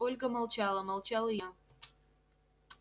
ольга молчала молчал и я